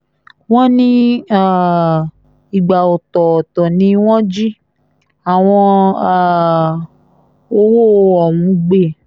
wọ́n ní um ìgbà ọ̀tọ̀ọ̀tọ̀ ni wọ́n jí àwọn um owó ọ̀hún gbé